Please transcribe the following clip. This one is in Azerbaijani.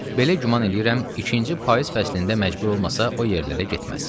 belə güman eləyirəm, ikinci payız fəslində məcbur olmasa o yerlərə getməz.